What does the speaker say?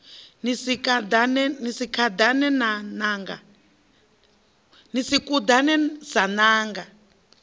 ni si kuḓane sa ṋanga